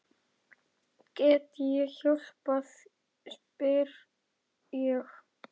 Get ég hjálpað spyr ég.